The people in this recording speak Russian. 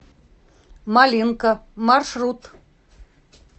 малинка маршрут